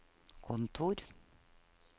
kontor